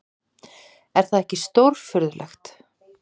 Er það ekki stórfurðulegt!